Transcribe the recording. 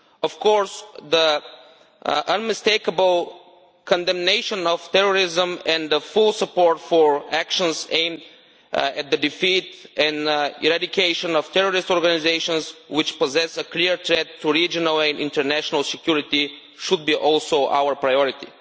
Of course, the unmistakable condemnation of terrorism and the full support for actions aimed at the defeat and eradication of terrorist organisations, which possess a clear threat to regional and international security, should be also our priority.